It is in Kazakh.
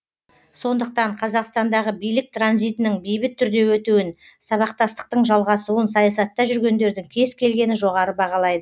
сондықтан қазақстандағы билік транзитінің бейбіт түрде өтуін сабақтастықтың жалғасуын саясатта жүргендердің кез келгені жоғары бағалайды